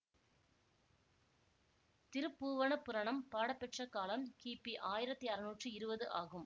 திருப்பூவணப் புராணம் பாடப்பெற்ற காலம் கிபி ஆயிரத்தி அறுநூற்றி இருவது ஆகும்